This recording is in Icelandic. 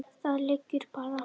Það liggur bara.